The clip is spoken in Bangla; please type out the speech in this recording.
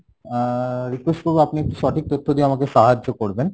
আহ request করবো আপনি একটু সঠিক তথ্য দিয়ে আমাকে সাহায্য করবেন,